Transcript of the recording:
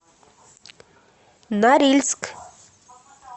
норильск